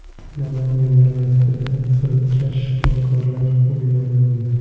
Namangan viloyatida firibgar shifokorlar qo‘lga olindi.